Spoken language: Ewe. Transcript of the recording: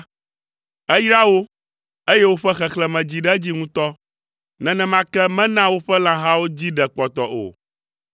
Eyra wo, eye woƒe xexlẽme dzi ɖe edzi ŋutɔ. Nenema ke mena woƒe lãhawo dzi ɖe kpɔtɔ o.